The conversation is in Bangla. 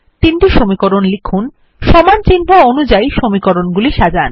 তিনটি সমীকরণ লিখুন সমান চিহ্ন অনুযায়ী সমীকরণ গুলি সাজান